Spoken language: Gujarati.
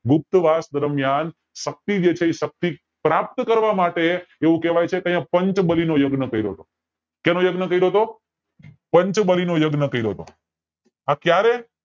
ગુપ્ત વાસ દરમિયાન શક્તિ જે છે શક્તિ પ્રાપ્ત કરવા માટે એવું કેવાય છે કે અયા પંચ બાલી નો યજ્ઞ કર્યો તો સેનો યજ્ઞ કર્યો તો પંચબલી નો યજ્ઞ કરતો તો